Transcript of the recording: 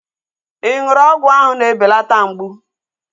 Ị ṅụrụ ọgwụ áhụ̀ na-ebelata mgbụ?